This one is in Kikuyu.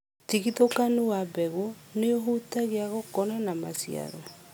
ũtigithũkanu wa mbegu nĩũhutagia gũkũra na maciaro.